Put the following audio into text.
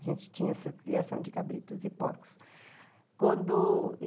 A gente tinha essa criação de cabritos e porcos. Quando...